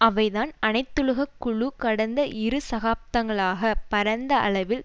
அவைதான் அனைத்துலக குழு கடந்த இரு தசாப்தங்களாக பரந்த அளவில்